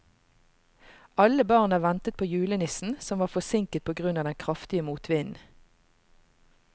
Alle barna ventet på julenissen, som var forsinket på grunn av den kraftige motvinden.